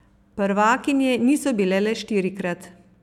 Prvakinje niso bile le štirikrat.